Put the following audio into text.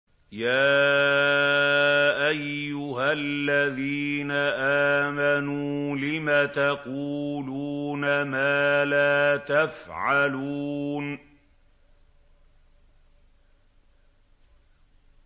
يَا أَيُّهَا الَّذِينَ آمَنُوا لِمَ تَقُولُونَ مَا لَا تَفْعَلُونَ